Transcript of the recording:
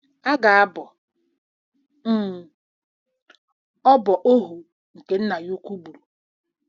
A ga-abọ um ọbọ ohu nke nna ya ukwu gburu.